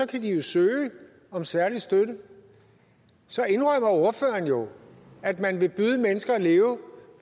kan de jo søge om særlig støtte så indrømmer ordføreren jo at man vil byde mennesker at leve